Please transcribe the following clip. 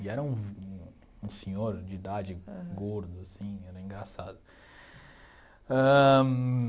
E era um um senhor de idade, gordo, assim, era engraçado ãh.